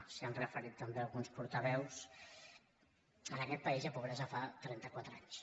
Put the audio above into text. s’hi han referit també alguns portaveus en aquest país hi ha pobresa fa trenta quatre anys